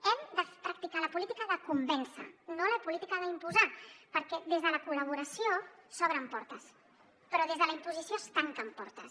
hem de practicar la política de convèncer no la política d’imposar perquè des de la col·laboració s’obren portes però des de la imposició es tanquen portes